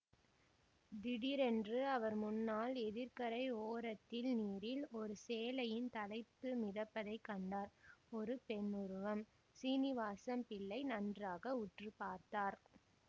திடீரென்று அவர் முன்னால் எதிர்க்கரை ஓரத்தில் நீரில் ஓரு சேலையின் தலைப்பு மிதப்பதைக் கண்டார் ஒரு பெண்ணுருவம் சீனிவாசம் பிள்ளை நன்றாக உற்று பார்த்தார்